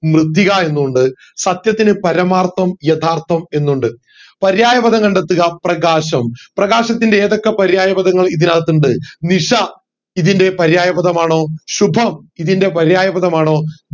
മൃതിക എന്നും ഇണ്ട് സത്യത്തിനു പരമാർത്ഥം യാഥാർത്ഥം എന്നു ഇണ്ട് പര്യായ പദം കണ്ടെത്തുക പ്രകാശം പ്രകാശത്തിൻറെ ഏതൊക്കെ പര്യായ പദങ്ങൾ ഇതിനകത്തുണ്ട് നിഷ ഇതിൻറെ പര്യായ പദമാണോ ശുഭം ഇതിന്റെ പര്യായ പദമാണോ